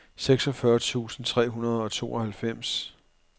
seksogfyrre tusind tre hundrede og tooghalvfems